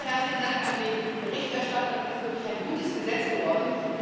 Zunächst mal herzlichen Dank an den Berichterstatter Das ist wirklich ein gutes Gesetz geworden.